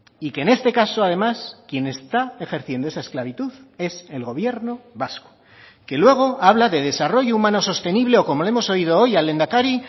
y que en este caso además quien está ejerciendo esa esclavitud es el gobierno vasco que luego habla de desarrollo humano sostenible o como le hemos oído hoy al lehendakari